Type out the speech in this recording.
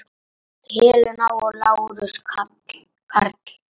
Helena og Lárus Karl.